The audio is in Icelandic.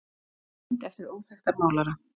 mynd eftir óþekktan málara